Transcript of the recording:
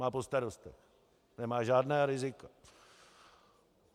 Má po starostech, nemá žádná rizika.